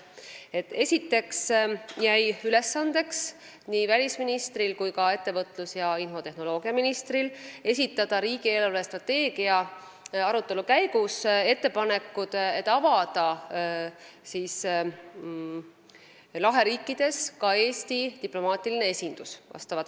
Esiteks jäi välisministri ning ettevõtlus- ja infotehnoloogiaministri ülesandeks esitada riigi eelarvestrateegia arutelu käigus ettepanekud, et avada laheriikides Eesti diplomaatiline esindus.